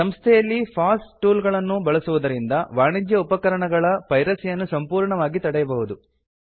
ಸಂಸ್ಥೆಯಲ್ಲಿ ಫಾಸ್ ಟೂಲ್ಗಳನ್ನು ಬಳಸುವುದರಿಂದ ವಾಣಿಜ್ಯ ಉಪಕರಣಗಳ ಪೈರಸಿ ಯನ್ನು ಸಂಪೂರ್ಣವಾಗಿ ತಡೆಯಬಹುದು